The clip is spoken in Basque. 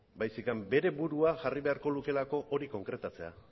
baizik bere burua jarri beharko lukeelako hori konkretatzea